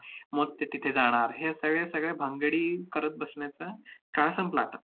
मग ते तिथे जाणार, हे सगळे सगळे भानगडी करत बसण्याचा काळ संपला आता.